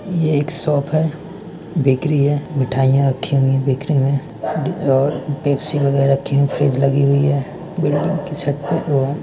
यह एक शॉप है बिक्री है मिठाइयां रखे हुए बिक्री में दे और पेप्सी वगैरह रखी हे फ्रिज लगी हुई है बिल्डिंग की छत पर लो--